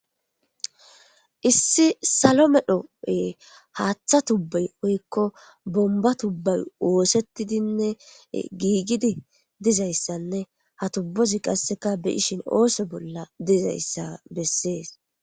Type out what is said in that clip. Issi salomedhope haaththa tubbay oykko bomba tubbay woosettidinne giigidi dizayssanne ha tubbozi qasseka beyishin ooso bolla dizayssa bessees.